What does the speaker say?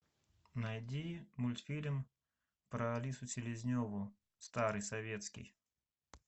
найди мультфильм про алису селезневу старый советский